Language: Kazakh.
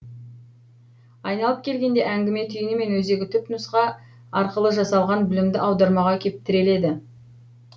айналып келгенде әңгіме түйіні мен өзегі түпнұсқа арқылы жасалған білімді аудармаға кеп тіреледі